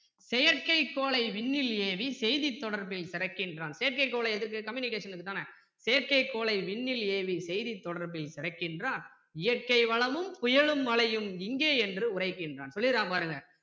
செயற்கை கோளை விண்ணில் ஏவி செய்தித் தொடர்பில் சிறக்கின்றான் செயற்கை கோல் எதற்கு communication க்கு தானே செயற்கை கோளை விண்ணில் ஏவி செய்தித் தொடர்பில் சிறக்கின்றான் இயற்கை வளமும் புயலும் மழையும் இங்கே என்று உரைக்கின்றான் சொல்லிர்றான் பாருங்க